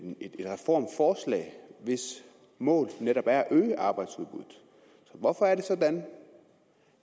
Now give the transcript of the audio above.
reformforslag hvis mål netop er at øge arbejdsudbuddet hvorfor er det sådan